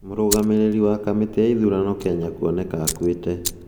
Mũrũgamĩrĩri wa kamĩtĩ ya ithurano Kenya kuoneka akuĩte